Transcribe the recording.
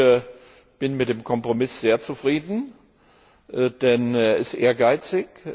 Ich bin mit dem Kompromiss sehr zufrieden, denn er ist ehrgeizig.